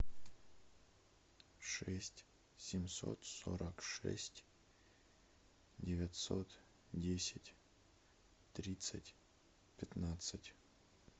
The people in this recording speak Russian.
шесть семьсот сорок шесть девятьсот десять тридцать пятнадцать